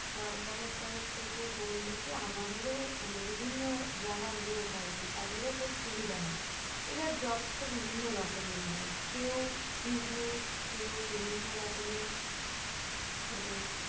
সরকারের তরফ থেকে বললে কি আমাদেরও মানে বিভিন্ন যারা লোক আর কি তাদেরও খুব সুবিধা হয়। এবার jobs তো বিভিন্ন রকমের হয় কেউ business কেউ বিভিন্ন রকমের মানে